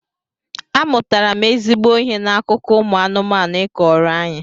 Amụtara m ezigbo ihe n'akụkọ ụmụ anụmanụ ị kọọrọ anyị